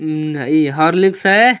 उम high Horlicks है।